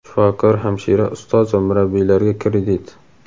Shifokor, hamshira, ustoz va murabbiylarga kredit.